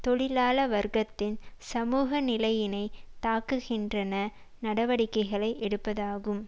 தொழிலாள வர்க்கதின் சமூக நிலையினை தாக்குகின்றன நடவடிக்கைகளை எடுப்பதாகும்